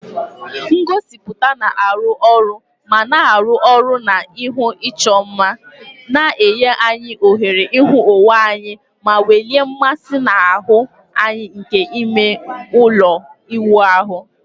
Ngosipụta na-arụ ọrụ ma na-arụ ọrụ na ihe ịchọ mma, na-enye anyị ohere ịhụ onwe anyị ma welie mmasị na-ahụ anya nke ime ụlọ ịwụ ahụ.